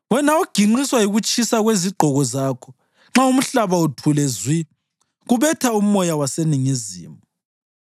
Wena oginqiswa yikutshisa kwezigqoko zakho nxa umhlaba uthule zwi kubetha umoya waseningizimu,